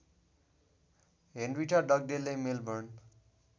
Henrietta डगडेलले Melbourne